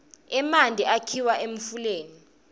emanti akhiwa emfuleni